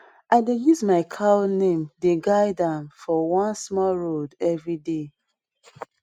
i dey use my cow name dey guide am for one small road every day